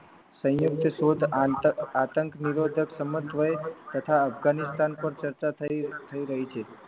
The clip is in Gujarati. સંયુક્ત શોધ આંતક આતંક નિરોધક સમત્વય તથા અફઘાનિસ્તાન પર ચર્ચા થઈ રહી છે